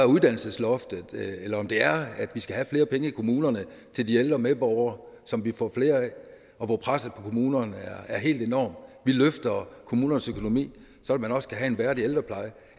uddannelsesloftet eller er det at vi skal have flere penge i kommunerne til de ældre medborgere som vi får flere af og hvor presset på kommunerne er helt enormt vi løfter kommunernes økonomi så man også kan have en værdig ældrepleje